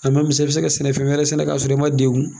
i bɛ se ka sɛnɛ fɛn wɛrɛ sɛnɛ ka sɔrɔ i man degun.